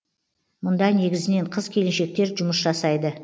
мұнда негізінен қыз келіншектер жұмыс жасайды